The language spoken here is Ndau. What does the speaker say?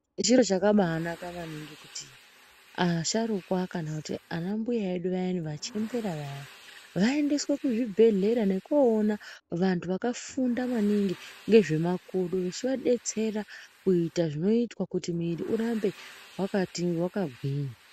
Zviro zvakanaka maningi kuti asharuka kana anambuya vedu vachembera vaendeswa kuchibhedhlera nekoona vahu vakafunda maningi ngezvemakodo zvichivabetsera kuita zvinoitwa kuti miri yavo irambe yakagwinya .